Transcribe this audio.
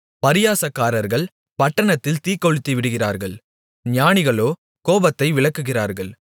பரியாசக்காரர்கள் பட்டணத்தில் தீக்கொளுத்திவிடுகிறார்கள் ஞானிகளோ கோபத்தை விலக்குகிறார்கள்